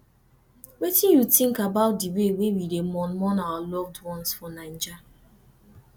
wetin you think about di way we dey mourn mourn our loved ones for naija